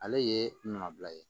Ale ye nɔbila ye